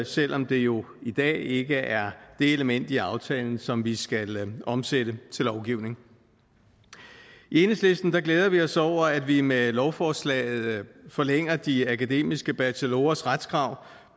selv om det jo i dag ikke er det element i aftalen som vi skal omsætte til lovgivning i enhedslisten glæder vi os over at vi med lovforslaget forlænger de akademiske bachelorers retskrav